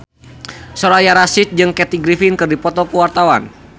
Soraya Rasyid jeung Kathy Griffin keur dipoto ku wartawan